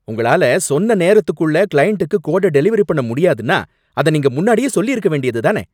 உங்களால சொன்ன நேரத்துக்குள்ள கிளையண்ட்டுக்கு கோட டெலிவெரி பண்ண முடியாதுன்னா, அத நீங்க முன்னாடியே சொல்லிருக்க வேண்டியதுதானே?